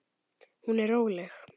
Hún er róleg.